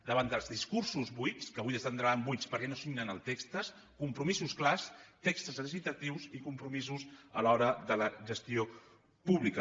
davant dels discursos buits que avui esdevindran buits perquè no signen els textos compromisos clars textos legislatius i compromisos a l’hora de la gestió pública